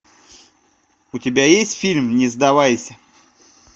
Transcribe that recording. у тебя есть фильм не сдавайся